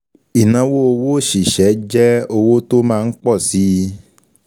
Ìnáwó owó òṣìṣẹ́ jẹ́ owó tó máa ń pọ̀ síi.